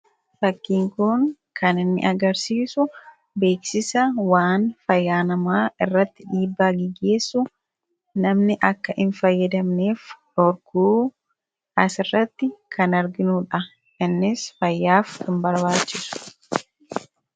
Fakkiin kun kan inni agarsiisu beeksisa waan fayyaa namaa irratti dhiibbaa geggeessu namni akka hin fayyadamneef dhorkuu asirratti kan arginuudha. Innis fayyaaf kan barbaachisu.